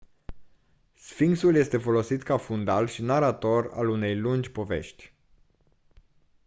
sfinxul este folosit ca fundal și narator al unei lungi povești